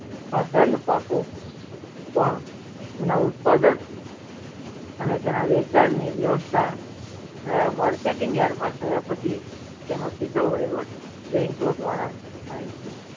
ખાધન પાકો પણ એના ઉત્પાદન અને તેની વહેચણ ની વ્યવસ્થા થાય marketing yard થયા પછી તેનો સિધ્ધો વહીવટ bank ઓ દ્વારા થાય છે